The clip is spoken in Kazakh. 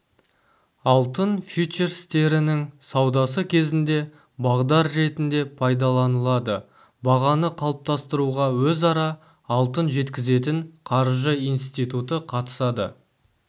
алтын фьючерстерінің саудасы кезінде бағдар ретінде пайдаланылады бағаны қалыптастыруға өзара алтын жеткізетін қаржы институты қатысады